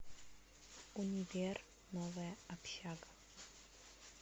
универ новая общага